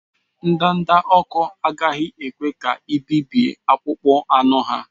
Ndanda ọkụ agaghị ekwe ka i bibie akpụkpọ anụ ha.